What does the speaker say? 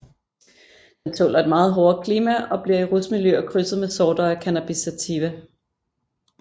Den tåler et meget hårdere klima og bliver i rusmiljøer krydset med sorter af Cannabis sativa